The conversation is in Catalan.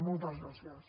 moltes gràcies